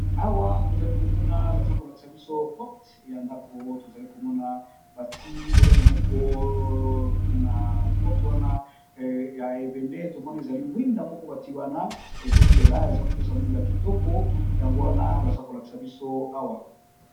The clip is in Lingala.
Awa tozali komona baza ko lakisa biso porte ya ndako, tozali komona bati eloko moko na porte wana ya ebende tomoni ezali mwinda moko bati wana ezo pela eza kopesa mwinda kitoko yango wana baza ko lakisa biso awa.